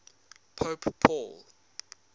pope paul